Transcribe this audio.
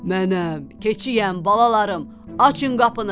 Mənəm, keçiyəm balalarım, açın qapını.